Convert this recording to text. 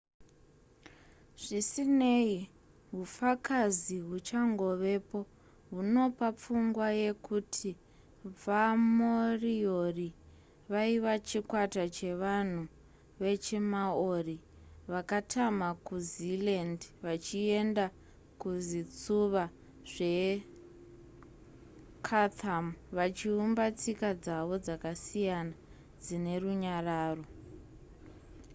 zvisinei hufakazi huchangovepo hunopa pfungwa yekuti vamoriori vaive chikwata chevanhu vechimaori vakatama kuzealand vachienda kuzvitsuva zvechatham vachiumba tsika dzavo dzakasiyana dzine runyararo